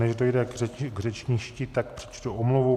Než dojde k řečništi, tak přečtu omluvu.